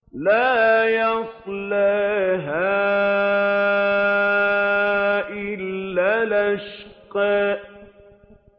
لَا يَصْلَاهَا إِلَّا الْأَشْقَى